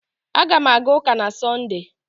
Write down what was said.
Aga m aga ụka na Sọnde